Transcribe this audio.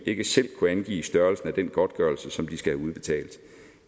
ikke selv kunne angive størrelsen af den godtgørelse som de skal have udbetalt